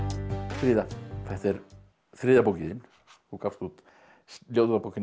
fríða þetta er þriðja bókin þín þú gafst úr ljóðabókina